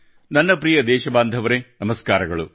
ನನ್ನ ಪ್ರಿಯ ದೇಶಬಾಂಧವರೆ ನಮಸ್ಕಾರಗಳು